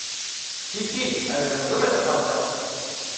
Hi hi, ali me razumeta fanta?